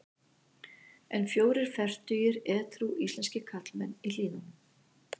En fjórir fertugir edrú íslenskir karlmenn í Hlíðunum.